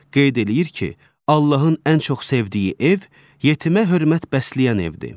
Qeyd eləyir ki, Allahın ən çox sevdiyi ev yetimə hörmət bəsləyən evdir.